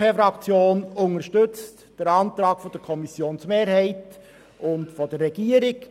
Die BDP-Fraktion unterstützt den Antrag der Kommissionsmehrheit und der Regierung.